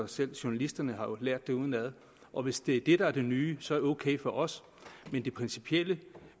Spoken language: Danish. selv journalisterne har lært det udenad og hvis det er det der er det nye så er det ok for os men det principielle